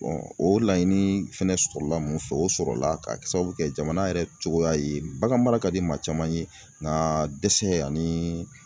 o laɲini fɛnɛ sɔrɔla mun fɛ, o sɔrɔla k'a k sababu kɛ jamana yɛrɛ cogoya ye. Baganmara ka di maa caman ye ŋaa dɛsɛ anii